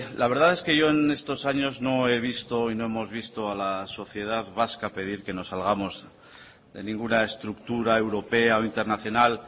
la verdad es que yo en estos años no he visto y no hemos visto a la sociedad vasca pedir que nos salgamos de ninguna estructura europea o internacional